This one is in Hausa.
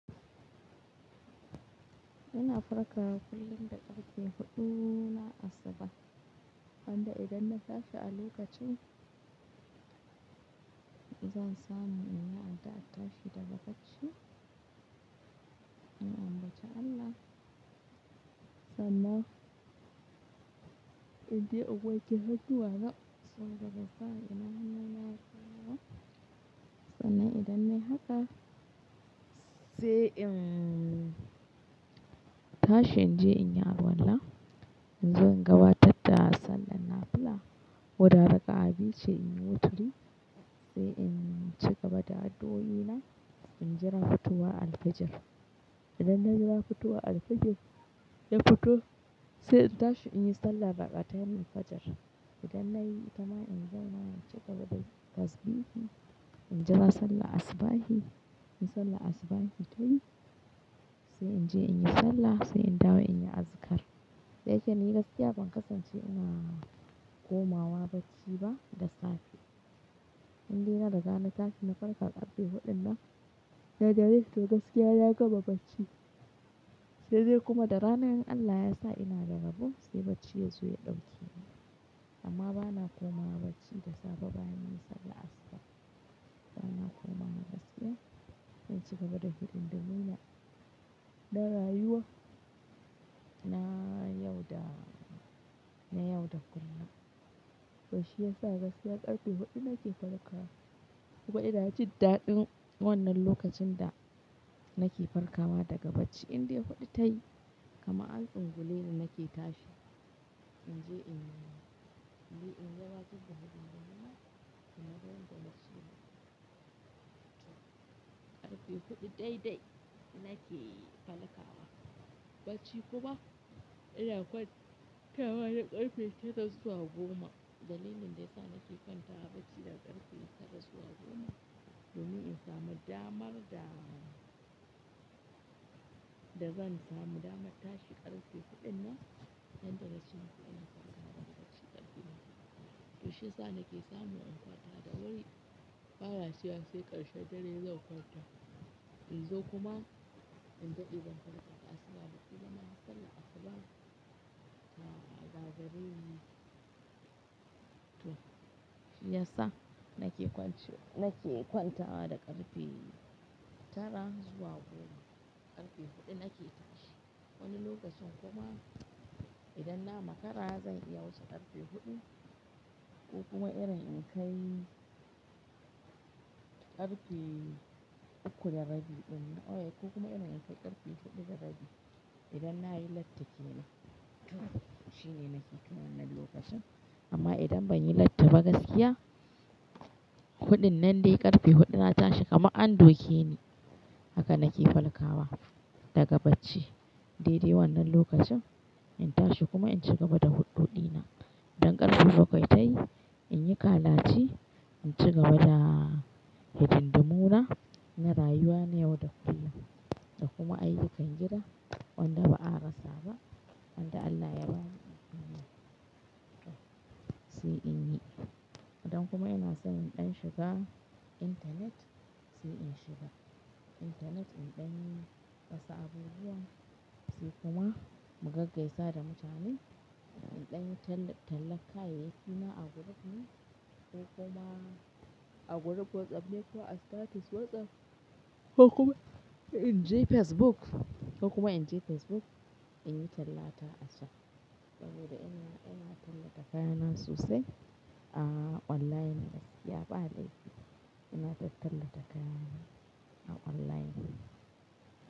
Ina farkawa kullum da karfe huɗu na asuba. Yanda idan na tashi a lokacin, zan samu inyi addu'ar tashi daga bacci. In ambaci Allah, sannan in je in wanke hannuwa na, so daga baya ina hannun yaro na. Sannan idan nayi haka, sai in tashi in je in yi alwallah. In zo in gabatar da sallah nafila. Koda raka'a biyu ce in yi wuturi, sai in ci gaba da addu'o'i na, in jira fitowaralfijir. Idan na jira fitowa alfijir, ya fito sai in tashi in yi sallah raƙa'atanil fajir. Idan na yi, ita ma in zo na ci gaba dayin tasbihi. In jira sallah asubahi, in sallah asubahi tayi, sai in je in yi sallah, sai in dawo in yi azkar. Dayake ni gaskiya ban kasance ina komawa bacci ba da safe. In dai na riga na tashi na farka ƙarfe huɗunnan, na dare to gaskiya na gama bacci. Sai dai kuma da rana in Allah ya sa ina da rabo, sai bacci ya zo ya ɗauke ni. Amma bana komawa bacci da safe bayan yi sallah asuba. Bana komawa gaskiya in ci gaba da hidin dumuna na rayuwa na yau da kullum. To shi ya sa gaskiya ƙarfe huɗu nake farkawa. Kuma idan kin ji daɗin wannan lokacin da nake farkawa daga bacci, in dai huɗu tayi, kamaan an tsunguleni nake tashi. In je in yi, in jira tashi da haɗari nan, ina don da motsi na. Ƙarfe huɗu daidai nake farkawa bacci kuma ina kwantawa da ƙarfe tara zuwa goma. Dalilin da ya sa nake kwantawa bacci da ƙarfe tara zuwa goma, domin in samu damar da zan samu damar tashi ƙarfe huɗu nan, don dare cikin ina farkawa bacci ƙarfe huɗu. To shi ya sa nake samu in kwanta da wuri, bana jira sai ƙarshen dare zan kwanta. In zo kuma in je in farka ƙasa da huɗu da na yi sallah asuba, ta gagareni. To shi ya sa nake kwance, nake kwantawa da ƙarfe tara zuwa goma. Ƙarfe huɗu nake tashi. Wani lokacin kuma idan na makara zan iya wuce ƙarfe huɗu ko kuma irin in kai ƙarfe uku da rabi ɗin. Oh yeah! Ko kuma idan in kai ƙarfe huɗu da rabi, idan na yi latti kenan, to shi ne nake kai wannan lokacin. Amma idan ban yi latti ba gaskiya, huɗun nan dai ƙarfe huɗu na tashi kamar an doke ni. Haka nake farkawa daga bacci. Dai dai wannan lokacin in tashi kuma in ci gaba da huɗoɗi na. Idan ƙarfe bakwai ta yi, in yi kalace, in ci gaba da hidin dumuna na rayuwa na yau da kullum. Da kuma ayyukan gida wanda ba a rasa ba. Tunda Allah ya ba mu himma sai in yi. Idan kuma ina son in ɗan shiga internet sai in shiga. Intanet in ɗan rasa abubuwa sai kuma mu gaggaisa da mutane. In ɗan tallata kayayyaki na a group ne ko kuma a group WhatsApp ne ko a status WhatsApp ko kuma in je Facebook ko kuma in je Facebook in yi tallata a can. Saboda ina tallata kayana sosai a online gaskiya ba laifi ina tallata kayana a online.